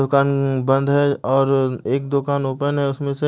दुकान बंद है और एक दुकान ओपन है उसमें से--